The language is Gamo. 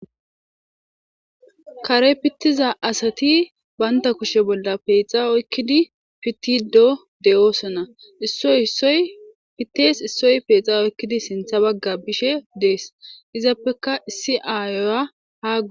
kare pittiza asati baynta kushe bolla peexa oykkidi pittido de7oosona issoy oy pittees issoy peexa oykkidi sintha bagga bishe dees izappeka issi aayoya hagu